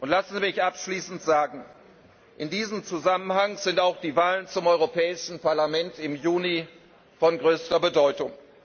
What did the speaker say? Lassen Sie mich abschließend sagen In diesem Zusammenhang sind auch die Wahlen zum Europäischen Parlament im Juni von größter Bedeutung.